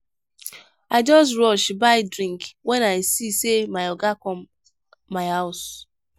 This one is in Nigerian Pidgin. i just rush buy drink wen i see sey my oga come my house.